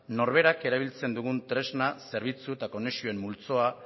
norberak erabiltzen dugun tresna zerbitzu eta konexioen multzoa